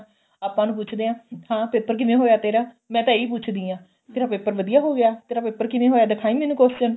ਆਪਾਂ ਉਹਨੂੰ ਪੁੱਛਦੇ ਆ ਹਾਂ paper ਕਿਵੇਂ ਹੋਇਆ ਤੇਰਾ ਮੈਂ ਤਾਂ ਇਹੀ ਪੁੱਛਦੀ ਆਂ ਤੇਰਾ paper ਵਧੀਆ ਹੋ ਗਿਆ ਤੇਰਾ paper ਕਿਵੇਂ ਹੋਇਆ ਦਿਖਾਈ ਮੈਂਨੂੰ question